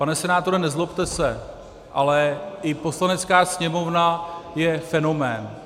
Pane senátore, nezlobte se, ale i Poslanecká sněmovna je fenomén.